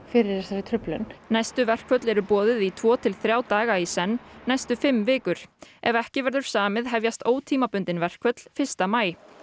fyrir þessari truflun næstu verkföll eru boðuð í tvo til þrjá daga í senn næstu fimm vikur ef ekki verður samið hefjast ótímabundin verkföll fyrsta maí